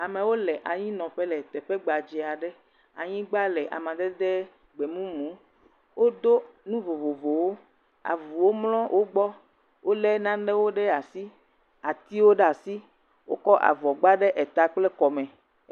Amewo le anyinɔƒe le teƒe gbadze aɖe, anyigba le amadede gbemumu. Wodo nu vovovowo, avuwo mlɔ wo gbɔ, wolé nanewo ɖe asi, atiwo ɖe asi, wokɔ avɔ gba ɖe eta kple kɔme.